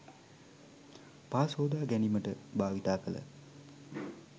පා සෝදා ගැනීමට භාවිත කළ